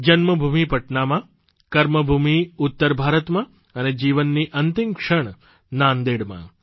જન્મભૂમિ પટનામાં કર્મભૂમિ ઉત્તર ભારતમાં અને જીવનની અંતિમ ક્ષણ નાંદેડમાં